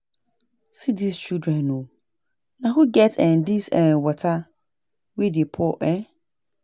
See dis children oo, na who get um dis um water wey dey pour um